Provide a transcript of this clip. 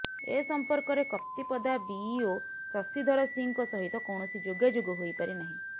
ଏ ସମ୍ପର୍କରେ କପ୍ତିପଦା ବିଇଓ ଶଶିଧର ସିଂଙ୍କ ସହିତ କୌଣସି ଯୋଗାଯୋଗ ହୋଇପାରିନାହିଁ